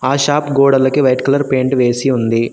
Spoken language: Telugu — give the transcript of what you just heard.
ఆ షాప్ గోడలకు వైట్ కలర్ పెయింట్ వేసి ఉంది.